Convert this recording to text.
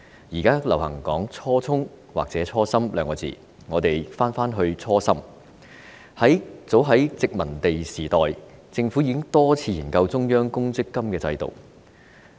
現時流行說"初衷"或"初心"，如果我們返回初心，早在殖民地時代，政府已經多次研究中央公積金制度。